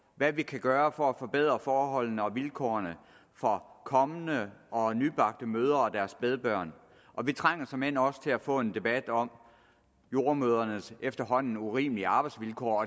hvad vi kan gøre for at forbedre forholdene og vilkårene for kommende og nybagte mødre og deres spædbørn og vi trænger såmænd også til at få en debat om jordemødrenes efterhånden urimelige arbejdsvilkår